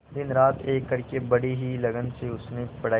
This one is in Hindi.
दिनरात एक करके बड़ी ही लगन से उसने पढ़ाई की